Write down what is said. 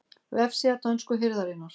Vefsíða dönsku hirðarinnar